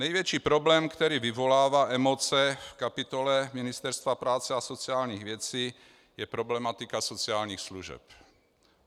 Největší problém, který vyvolává emoce v kapitole Ministerstva práce a sociálních věcí, je problematika sociálních služeb.